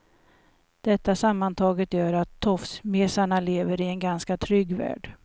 Detta sammantaget gör att tofsmesarna lever i en ganska trygg värld.